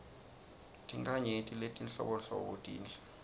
tinkhanyeti letinhlobonhlobo tinhle